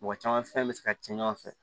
Mɔgɔ caman fɛn bɛ se ka kɛ ɲɔgɔn fɛ